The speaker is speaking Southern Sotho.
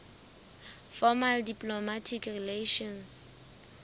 formal diplomatic relations